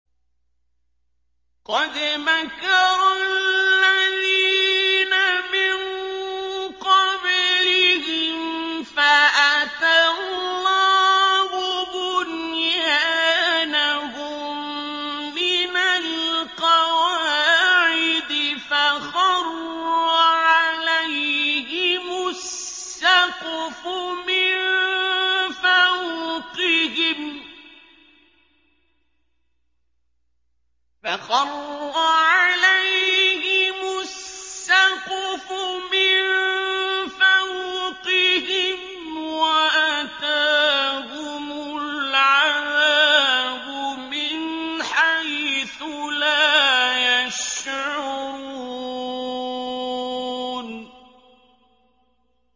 قَدْ مَكَرَ الَّذِينَ مِن قَبْلِهِمْ فَأَتَى اللَّهُ بُنْيَانَهُم مِّنَ الْقَوَاعِدِ فَخَرَّ عَلَيْهِمُ السَّقْفُ مِن فَوْقِهِمْ وَأَتَاهُمُ الْعَذَابُ مِنْ حَيْثُ لَا يَشْعُرُونَ